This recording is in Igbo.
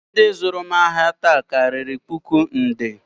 Ndị zụrụ m ahịa taa karịrị puku nde